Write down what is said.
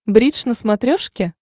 бридж на смотрешке